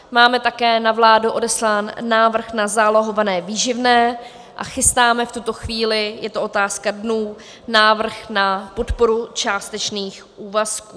Máme také na vládu odeslán návrh na zálohované výživné a chystáme v tuto chvíli, je to otázka dnů, návrh na podporu částečných úvazků.